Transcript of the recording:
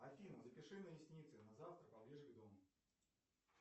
афина запиши на ресницы на завтра поближе к дому